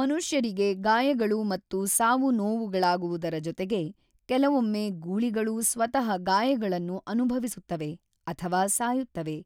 ಮನುಷ್ಯರಿಗೆ ಗಾಯಗಳು ಮತ್ತು ಸಾವು-ನೋವುಗಳಾಗುವುದರ ಜೊತೆಗೆ, ಕೆಲವೊಮ್ಮೆ ಗೂಳಿಗಳೂ ಸ್ವತಃ ಗಾಯಗಳನ್ನು ಅನುಭವಿಸುತ್ತವೆ ಅಥವಾ ಸಾಯುತ್ತವೆ,